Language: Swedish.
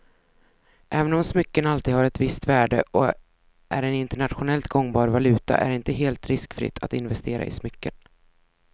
Även om smycken alltid har ett visst värde och är en internationellt gångbar valuta är det inte helt riskfritt att investera i smycken.